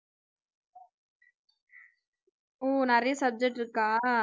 ஓ நிறைய subject இருக்கா